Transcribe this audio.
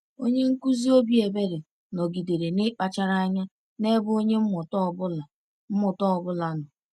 Onye nkuzi obi ebere nọgidere n’ịkpachara anya n’ebe onye mmụta ọ bụla mmụta ọ bụla nọ.